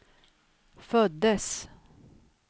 föddes